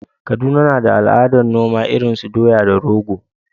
Kaduna na da al’adar noma irin su doya da rogo.